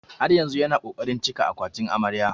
Har yanzu yana ƙoƙarin cika akwatin amarya.